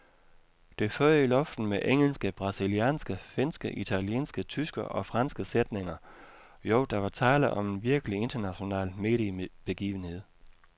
Det føg i luften med engelske, brasilianske, finske, italienske, tyske og franske sætninger, jo, der var tale om en virkelig international mediebegivenhed.